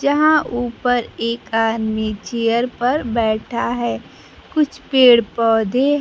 जहां ऊपर एक आदमी चेयर पर बैठा है कुछ पेड़ पौधे--